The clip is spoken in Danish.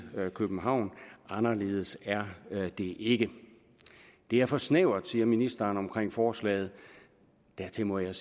københavn anderledes er det ikke det er for snævert siger ministeren om forslaget dertil må jeg